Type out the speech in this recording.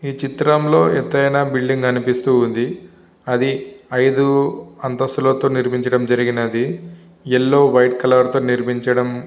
ఈ చిత్రంలో ఎతైన బిల్డింగ్ కనిపిస్తూ ఉంది. అది ఐదు అంతస్థులతో నిర్మించడం జరిగినది. యెల్లో వైట్ కలర్ తో నిర్మించడం--